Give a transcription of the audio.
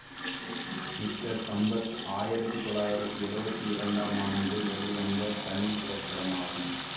mister Sampath ஆயிரத்தி தொள்ளாயிரத்தி எழுவத்தி இரண்டாம் ஆண்டு வெளிவந்த தமிழ் திரைப்படமாகும்